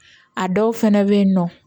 A dɔw fɛnɛ be yen nɔ